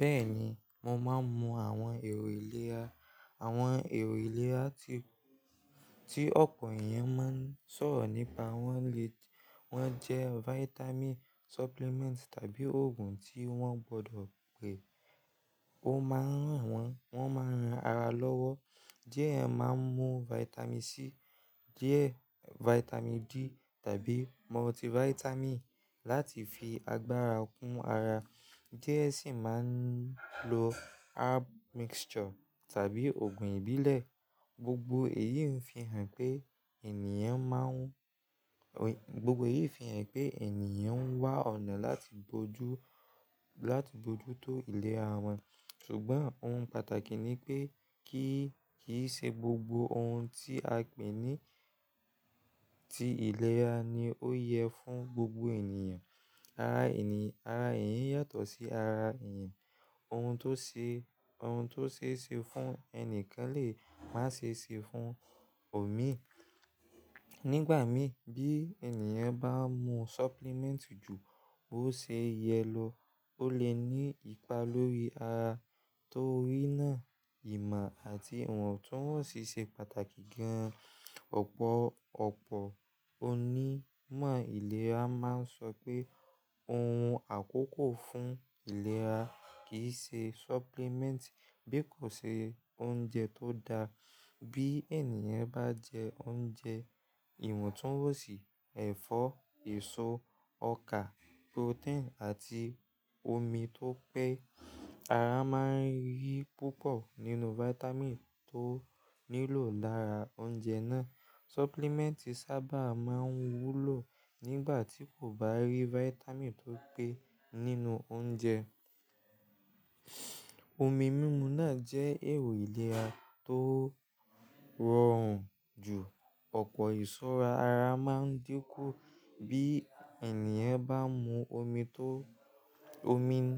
Bẹ́ẹ̀ni, mo máa ń mu àwọn èrò ìlera, àwọn èrò ìlera tí, tí ọpọ̀ èèyàn máa ń sọ̀rọ̀ nípa wọ́n lé, wọ́n jẹ́ vitamin supplement tàbí òògùn tí wọ́n gbọdọ̀ pè. Ó máa ń ràn wọ́n, wọ́n máa ń ran ara lọ́wọ́. Diẹ máa ń mu vitamin C, diẹ vitamin D tàbí multivitamin láti fi agbára kún ara. Diẹ sì máa ń lo herb mixture tàbí òògùn ìbílẹ̀. Gbogbo èyí ń fi hàn pé ènìyàn máa ń, gbogbo èyí fi hàn pé ènìyàn n wá ọ̀nà láti bojú, láti bojú tó ìlera wọn. Ṣùgbọ́n ohun pàtàkì ni pé kíì se gbogbo ohun tí a pè ní ti ìlera ni ó yẹ fún gbogbo ènìyàn. Ara ènìyàn, ara èèyàn yàtọ̀ sí ara èèyàn. Ohun tó se, ohun tó se é se fún ẹni kan lè má se se fún òmí. Nígbà mí bí ènìyàn bá mu supplement jù bó se yẹ lọ, ó lè ní ipa lórí ara. Torí náà ìmọ̀ àti ìwọ̀ntúnwọ̀nsì se pàtàkì gan-an. Ọ̀pọ̀, ọ̀pọ̀ onímọ̀ ìlera máa ń sọ pé ohun àkókò fún ìlera kì í se supplement bí kò se oúnjẹ tó da. Bí ènìyàn bá jẹ oúnjẹ, ìwọ̀ntúnwọ̀nsì, ẹ̀fọ́, èso, ọkà, protein àti omi tó pé, ara máa ń rí púpọ̀ nínú vitamin tó nílò lára oúnjẹ náà. Supplement sábà máa ń wúlò nígbà tí kò bá rí vitamin tó pé nínú oúnjẹ. Omi mímu náà jẹ́ èrò ìlera tó rọrùn jù. Ọ̀pọ̀ ìsúra ara máa ń dínkù bí ènìyàn bá ń mu omi tó, omi ń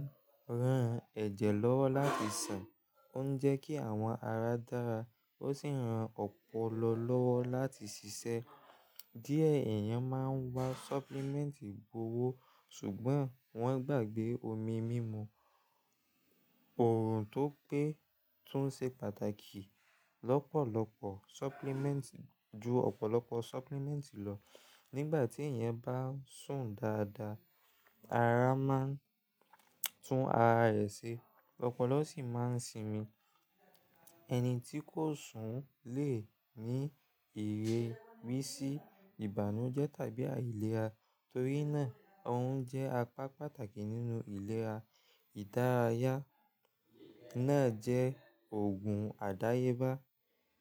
ran ẹ̀jẹ̀ lọ́wọ́ láti sàn, ó ń jẹ́ kí àwọn ara dára ó sì ń ran ọpọlọ lọ́wọ́ láti ṣiṣẹ́. Diẹ èèyàn máa ń wa supplement gbowó, ṣùgbọ́n wọ́n gbàgbé omi mímu, orun tó pé tún ṣe pàtàkì lọ́pọ̀lọpọ̀ supplement, ju ọ̀pọ̀lọpọ̀ supplement lọ. Nígbà tí èèyàn bá sùn dáadáa, ara máa ń tún ara rẹ̀ ṣe, ọpọlọ sì máa ń sinmi. Ẹni tí kò sùn lè ní èrè wí sí ìbànújẹ́ tàbí àìlera. Torí náà, orun jẹ́ apá pàtàkì nínú ìlera. Ìdárayá náà jẹ́ òògùn àdáyébá.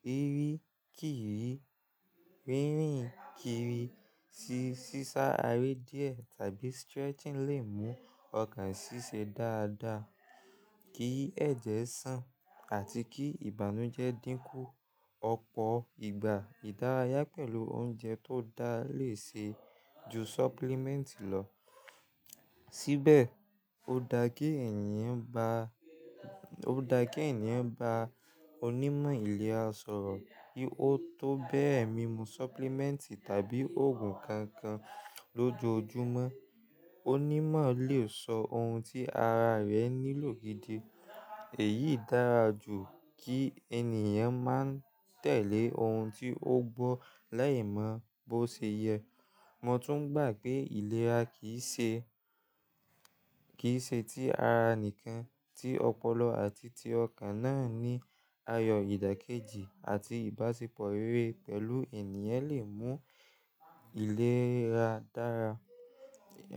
Rírìn kiri, rírìn kiri sí sísá aré diẹ tàbí stretching lè mú ọkàn sisẹ́ dáadáa, kí ẹ̀jẹ̀ sàn àti kí ìbànújẹ́ dínkù. Ọ̀pọ̀ ìgbà ìdárayá pẹ̀lú oúnjẹ tó da lè ṣe ju supplement lọ. Síbẹ̀ ó da kí èèyàn ba, ó da kí èèyàn bá onímọ̀ ìlera sọ̀rọ̀ bí ó tó bẹ́ẹ̀ mímu supplement tàbí òògùn kankan lójoojúmọ́. Onímọ̀ lè sọ ohun tí ara rẹ nílò gidi. Èyí dára jù kí ènìyàn máa ń tẹ̀lé ohun tí ó gbọ́ lẹ́ẹ̀mọ́ bó ṣe yẹ. Mo tún gbà pé ìlera kì í ṣe, kì í ṣe ti ara nìkan, tí ọpọlọ àti ti ọkàn náà ní ayọ̀, ìdàkejì àti ìbáṣepọ̀ rere pẹ̀lú ènìyàn lè mú ìlera dára.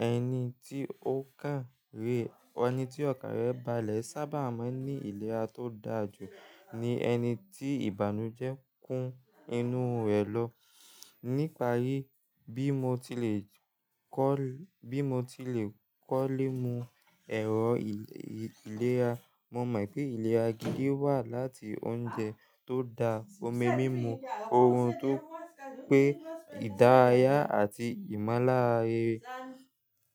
Ẹni tí ó kàn rè, ẹni tí ọkàn rẹ̀ balẹ̀ sábà máa ń ní ìlera tó dáa jù ní ẹni tí ìbànújẹ́ kún inú rẹ̀ lọ. Níparí bí mo ti lè kọ́lẹ̀, bí mo ti lè kọ́lẹ̀ mu èrò ìlera, mo mọ̀ pé ìlera gidi wá láti oúnjẹ tó da, omi mímu, ohun tó pé ìdárayá àti ìmọ̀láaye.